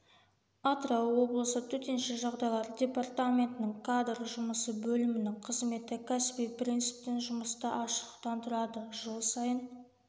атырау облысы төтенше жағдайлар департаментінің кадр жұмысы бөлімінің қызметі кәсіби принциптен жұмыста ашықтықтан тұрады жыл сайын